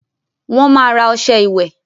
Wọ́n máa ra ọṣẹ ìwẹ̀